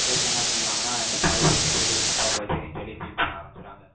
கடைசியா, என்ன பண்ணிருவாங்கன்னா, இந்த policy ய எடுத்தது தப்பா போச்சேனு, சொல்லி, feel பண்ண ஆரம்பிச்சிடுவாங்க